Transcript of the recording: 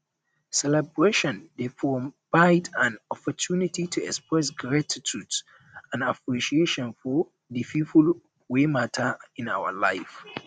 celebration dey provide an opportunity to express gratitude and appreciation for di people wey mata in our lives